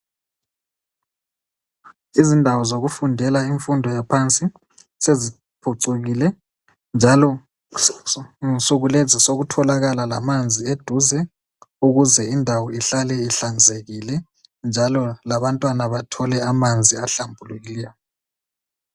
Izindawo zokufundela imfundo yaphansi seziphucukile njalo nsukulezi sokutholakala lamanzi eduze ukuze indawo ihlale ihlanzekile njalo labantwana bathole amanzi ahlambulikileyo